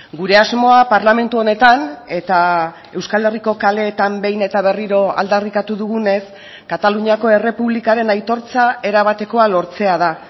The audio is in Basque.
gure asmoa parlamentu honetan eta euskal herriko kaleetan behin eta berriro aldarrikatu dugunez kataluniako errepublikaren aitortza erabatekoa lortzea da